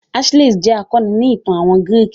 Achilles jẹ́ akọni ni ìtàn àwọn gírìkì.